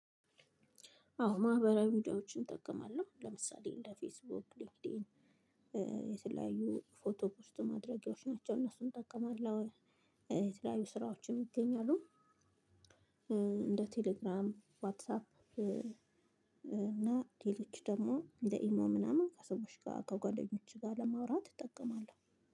አዎ ማህበራዊ ሚዲያዎችን እጠቀማለሁ ለምሳሌ እንደ ፌስቡክ ሊንክዲን የተለያዩ ፎቶ ፖስት ማድረጊያዎች ናቸው እነሱን እጠቀማለሁ። የተለያዩ ስራዎችን ይገኛሉ። እንደ ቴሌግራም ዋትሳፕ እና ሌሎች ደግሞ እንደ ኢሞ ምናምን ከሰዎች ጋር ከጓደኞችሽ ጋር ለማውራት እጠቀማለሁ።